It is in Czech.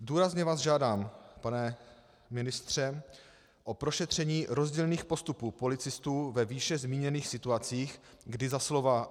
Důrazně vás žádám, pane ministře, o prošetření rozdílných postupů policistů ve výše zmíněných situacích, kdy za slova